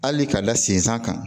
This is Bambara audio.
Hali ka da sen san kan